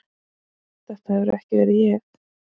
Þetta hefur ekki verið ég?